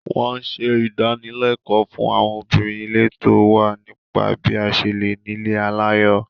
Wọ́n ṣe ìdánilẹ́kọ̀ọ́ fún àwọn obìnrin ìletò wa nípa bí a ṣe lè nílé aláyọ̀